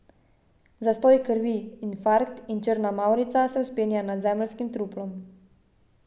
Zastoj krvi, infarkt, in črna mavrica se vzpenja nad zemeljskim truplom.